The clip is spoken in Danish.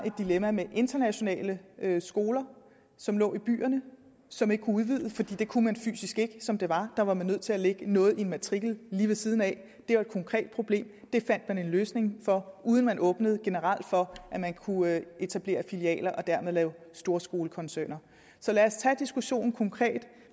et dilemma med internationale skoler som lå i byerne som ikke kunne udvides for det kunne man fysisk ikke som det var der var man nødt til at lægge noget i matriklen lige ved siden af det var et konkret problem det fandt man en løsning på uden at man åbnede generelt for at man kunne etablere filialer og dermed lave storskolekoncerner så lad os tage diskussionen konkret